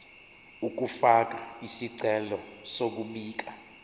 ukufaka isicelo sokubika